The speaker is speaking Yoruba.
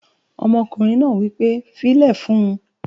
Ọmọkùnrin náà wí pé "fílẹ̀ fún un!"